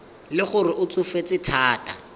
le gore o tsofetse thata